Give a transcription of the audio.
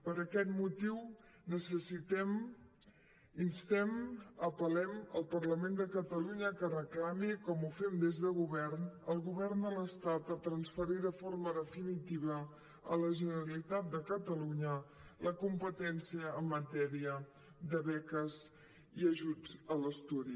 per aquest motiu necessitem instem apel·lem el parlament de catalunya que reclami com ho fem des de govern al govern de l’estat transferir de forma definitiva a la generalitat de catalunya la competència en matèria de beques i ajuts a l’estudi